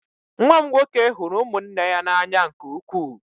Nwa m nwoke hụrụ ụmụnne ya n'anya nke ukwuu.